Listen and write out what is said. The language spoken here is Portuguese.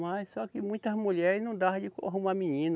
Mas só que muitas mulheres não dava de arrumar menino.